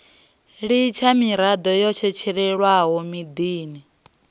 litsha miroho yo tshetshelwaho maḓini